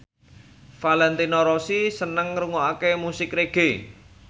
Valentino Rossi seneng ngrungokne musik reggae